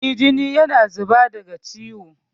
Eh, jini yana zuba daga ciwon.